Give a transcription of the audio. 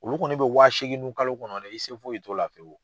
Olu kɔni be wa segin nun kalo kɔnɔ de, i se foyi t'o la fiyewu.